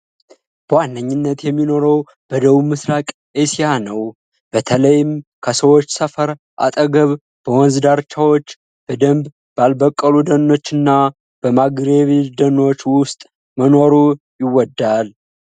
በዋነኝነት የሚኖረው በደቡብ ምሥራቅ እስያ ነው። በተለይም ከሰዎች ሰፈር አጠገብ፣ በወንዝ ዳርቻዎች፣ በደንብ ባልበቀሉ ደኖች እና በማንግሩቭ ደኖች ውስጥ መኖር ይወዳል።